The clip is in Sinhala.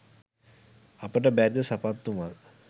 අපට බැරිද සපත්තු මල්